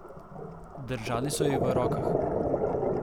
Držali so jih v rokah.